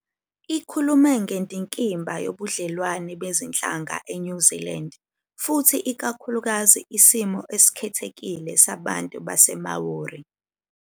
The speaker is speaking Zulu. Ikhulume ngendikimba yobudlelwano bezinhlanga eNew Zealand futhi ikakhulukazi isimo esikhethekile sabantu baseMāori.